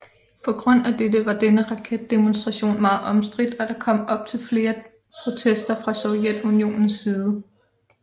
På grund af dette var denne raketdemonstration meget omstridt og der kom til flere protester fra Sovjetunionens side